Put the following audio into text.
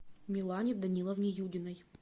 милане даниловне юдиной